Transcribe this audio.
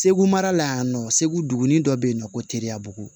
Segu mara la yan nɔ segu duguni dɔ bɛ yen nɔ ko teriya bugu